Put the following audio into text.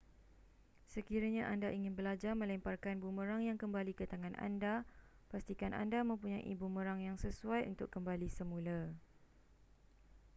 sekiranya anda ingin belajar melemparkan bumerang yang kembali ke tangan anda pastikan anda mempunyai bumerang yang sesuai untuk kembali semula